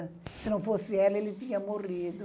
Se não fosse ela, ele tinha morrido.